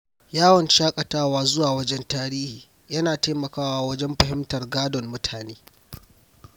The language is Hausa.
Yawon shaƙatawa zuwa wuraren tarihi yana taimakawa wajen fahimtar gadon mutane.